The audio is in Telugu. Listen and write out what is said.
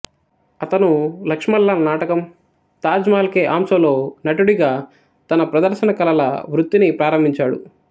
అతను లక్ష్మణ్ లాల్ నాటకం తాజ్ మహల్ కే ఆంసోలో నటుడిగా తన ప్రదర్శన కళల వృత్తిని ప్రారంభించాడు